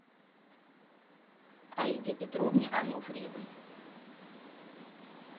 аиде петровне ануфриевой